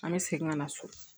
An bɛ segin ka na so